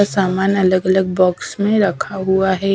सामान अलग-अलग बॉक्स में रखा हुआ है।